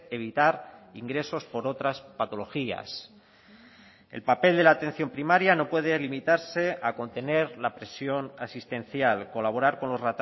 evitar ingresos por otras patologías el papel de la atención primaria no puede limitarse a contener la presión asistencial colaborar con los